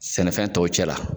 Sɛnɛfɛn tɔw cɛ la.